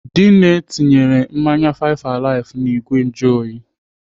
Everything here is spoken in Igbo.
Dinne tinyere mmanya five alive n'igwe njuoyi.